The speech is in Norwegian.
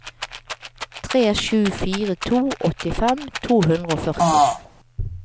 tre sju fire to åttifem to hundre og førti